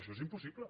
això és impossible